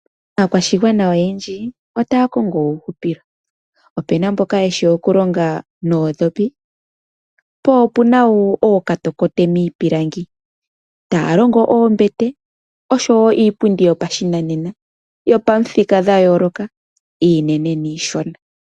Aakwashigwana oyendji otaya kongo uuhupilo. Opu na mboka ye shi okulonga noondhopi, po opu na wo ookatokote miipilangi, taya longo oombete noshowo iipundi yoshinanena yopamithika dha yooloka iinene niishona.